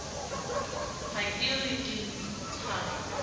ha ke re ke ntsha